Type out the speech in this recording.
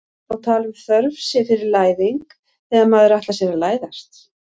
má tala um þörf sé fyrir læðing þegar maður ætlar sér að læðast